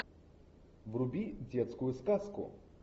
вруби детскую сказку